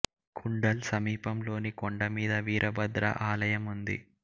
కుండల్ సమీప ంలోని కొండ మీద వీరభద్రా ఆలయం ఉంది